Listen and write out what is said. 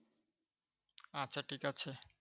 আচ্ছা ঠিক আছে।